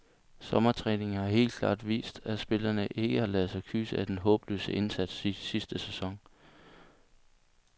Sommertræningen har helt klart vist, at spillerne ikke har ladet sig kyse af den håbløse indsats i sidste sæson.